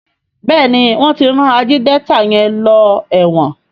Béèni wón tí ran Ajídétà yén ló èwòn.